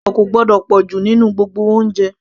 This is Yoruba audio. iyọ̀ kò gbọ́dọ̀ pọ̀jù nínú gbogbo oúnjẹ